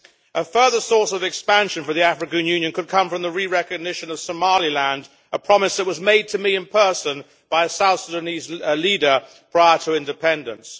A further source of expansion for the African Union could come from the re recognition of Somaliland, a promise that was made to me in person by a South Sudanese leader prior to independence.